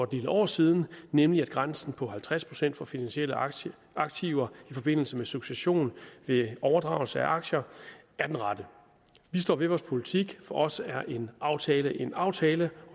del år siden nemlig at grænsen på halvtreds procent for finansielle aktiver aktiver i forbindelse med succession ved overdragelse af aktier er den rette vi står ved vores politik for os er en aftale en aftale